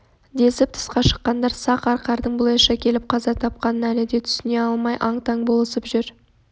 десіп тысқа шыққандар сақ арқардың бұлайша келіп қаза тапқанын әлі де түсіне алмай аң-таң болысып жүр